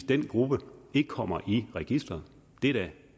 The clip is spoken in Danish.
den gruppe der ikke kommer i registeret det er da